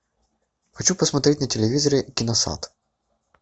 хочу посмотреть на телевизоре киносад